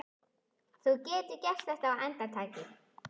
Þú getur gert þetta á andartaki.